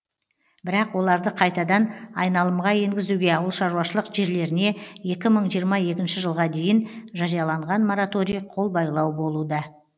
бірақ оларды қайтадан айналымға енгізуге ауылшаруашылық жерлеріне екі мың жиырма екінші жылға дейін жарияланған мораторий қолбайлау болуда